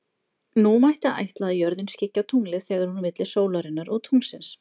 Nú mætti ætla að jörðin skyggi á tunglið þegar hún er milli sólarinnar og tunglsins.